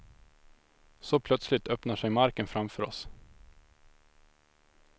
Så plötsligt öppnar sig marken framför oss.